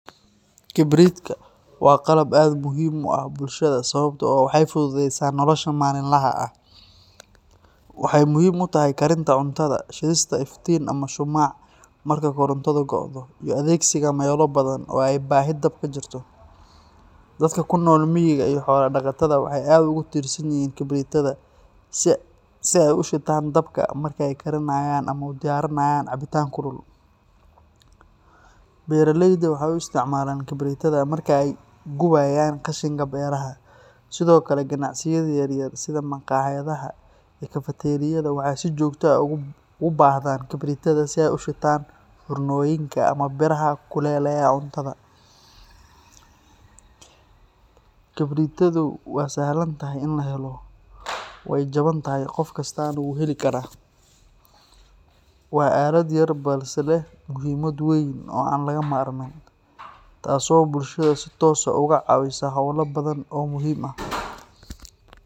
Kibridka waa qalab aad muhiim ugu ah bulshada sababtoo ah waxay fududeysa nolosha maalinlaha ah. Waxay muhiim u tahay karinta cuntada, shidista iftiin ama shumac marka korontadu go’do, iyo adeegsiga meelo badan oo ay baahi dab jirto. Dadka ku nool miyiga iyo xoolo dhaqatada waxay aad ugu tiirsan yihiin kibritada si ay u shitaan dabka marka ay karinayaan ama u diyaarinayaan cabitaan kulul. Beeraleyda waxay u isticmaalaan kibritada marka ay gubayaan qashinka beeraha. Sidoo kale, ganacsiyada yaryar sida maqaayadaha iyo kafateeriyada waxay si joogto ah ugu baahdaan kibritada si ay u shitaan foornooyinka ama biraha kululeeya cuntada. Kibritadu waa sahlan tahay in la helo, way jaban tahay, qof kastana wuu heli karaa. Waa aalad yar balse leh muhiimad weyn oo aan laga maarmin, taasoo bulshada si toos ah uga caawisa howlo badan oo muhiim ah.